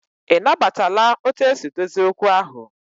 I na batala otu esi dozie okwu ahụ?